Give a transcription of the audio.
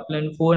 आपण फोन